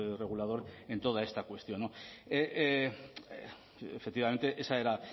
regulador en toda esta cuestión efectivamente esa era